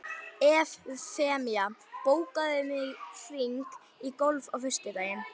Evfemía, bókaðu hring í golf á föstudaginn.